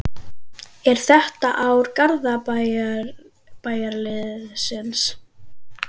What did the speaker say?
Er þetta ár Garðabæjarliðsins?